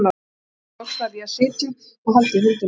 Svo loks varð ég að sitja og halda í höndina á honum.